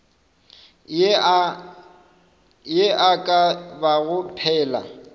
ye e ka bago phela